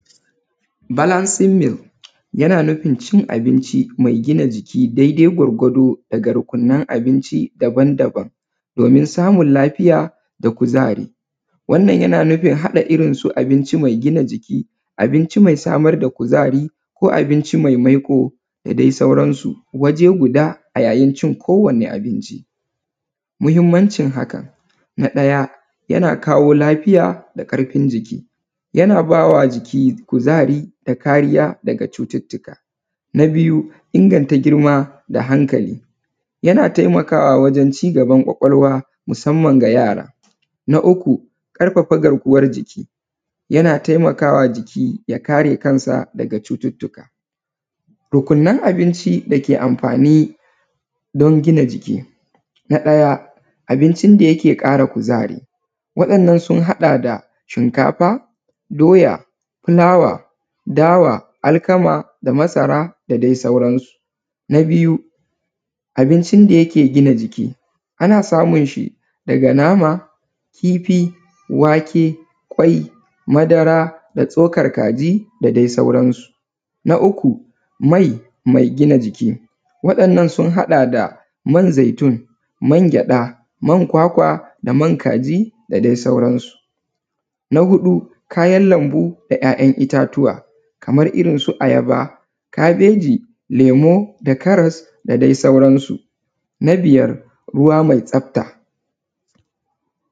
Balansin mil sine cin abinci maigina jiki daidai gwargwado daga rukunnan abinci daban daban, domin samun lafiya da kuzari. Wannan yana nufin haɗa irrin abinci mai gina jiki, abinci mai samar da kuzari ko abinci mai maiƙo da dai sauran su. Waje guda a yayin a yayin cin kowani abinci mahimmancin hakan. Na ɗaya yana kawo lafiya da karfin jiki, yana bawa jiki kuzari da kariya da cututtuka. Na biyu inganta girma da hankali yana taimawa wajen cigaban kwakwalwa musamman ga yara. Na uku ƙarfafa garkuwan jiki yana taimakawa jiki ya kare kansa daga cututtuka. Rukunnan abinci dake amfani dan gina jiki. Na ɗaya abincin da kara kuzari waɗannan sun haɗa da shinkafa, doya, fulasa, dawa, alkama da masara da dai sauran su. Na biyu abincin da yake gina jiki ana samun shi daga nama, wake, kifi, wake, kwai da tsokar kaji da dai sauran su. Na uku mai, mai gina jiki waɗannan sun haɗa da man zaitun, man gyada, man kwakwa da man kaji da dai sauran su. Na huɗu kayan lambu da 'ya''yan' ittatuwa kaman irrin su ayaba, kabeji, lemu da karas da dai sauran su na biyar ruwa mai tsafta.